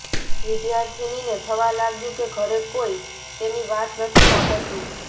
વિદ્યાર્થિનીને થવા લાગ્યું કે ઘરે કોઈ તેની વાત નથી સાંભળતું